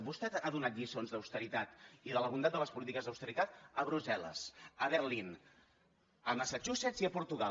vostè ha donat lliçons d’austeritat i de la bondat de les polítiques d’austeritat a brussel·les a berlín a massachusetts i a portugal